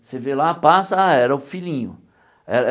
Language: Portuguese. Você vê lá, passa, ah era o filhinho eh eh.